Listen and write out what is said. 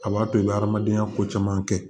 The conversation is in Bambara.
A b'a to i bɛ adamadenya ko caman kɛ